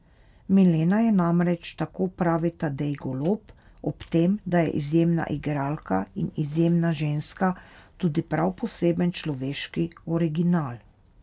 Milena je namreč, tako pravi Tadej Golob, ob tem, da je izjemna igralka in izjemna ženska, tudi prav poseben človeški original.